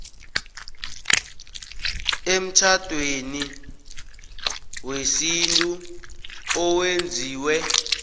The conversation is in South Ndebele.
emtjhadweni wesintu owenziwe